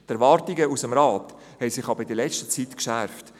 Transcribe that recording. Die Erwartungen aus dem Rat haben sich aber in letzter Zeit geschärft: